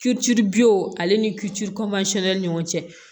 Tulu buw ale ni kiti ni ɲɔgɔn cɛ